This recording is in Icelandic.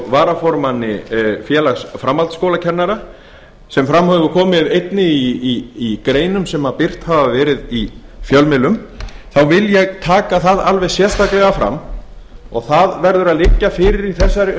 varaformanni félags framhaldsskólakennara sem fram hafa komið einnig í greinum sem birt hafa verið í fjölmiðlum þá vil ég taka það alveg sérstaklega fram og það verður að liggja fyrir í þessari